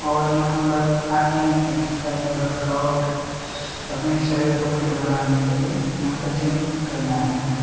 और यहाँ पर आते हैं एक्सरसाइज वर्कआउट अपने शरीर को फिट बनाने के लिए यहाँ पर जिम करने आते हैं।